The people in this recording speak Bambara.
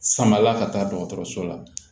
Samala ka taa dɔgɔtɔrɔso la